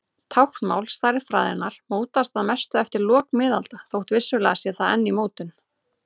Táknmál stærðfræðinnar mótaðist að mestu eftir lok miðalda þótt vissulega sé það enn í mótun.